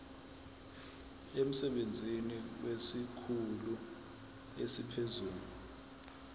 emsebenzini kwesikhulu esiphezulu